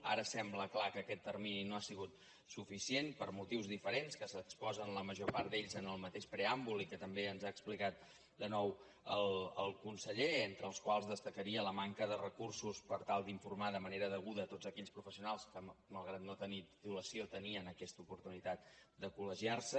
ara sembla clar que aquest termini no ha sigut suficient per motius diferents que s’exposen la major part d’ells en el mateix preàmbul i que també ens ha explicat de nou el conseller entre els quals destacaria la manca de recursos per tal d’informar de manera deguda tots aquells professionals que malgrat no tenir titulació tenien aquesta oportunitat de collegiarse